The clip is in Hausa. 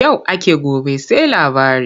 Yau ake gobe sai labari.